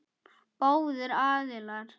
Báðir aðilar.